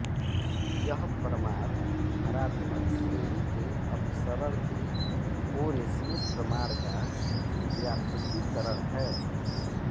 यह प्रमाण हरात्मक श्रेणी के अपसरण के ओरेस्मे प्रमाण का व्यापकीकरण है